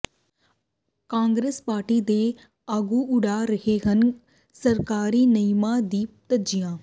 Congress party ਦੇ ਆਗੂ ਉਡਾ ਰਹੇ ਹਨ ਸਰਕਾਰੀ ਨਿਯਮਾਂ ਦੀਆਂ ਧੱਜੀਆਂ